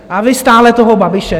A vy stále toho Babiše!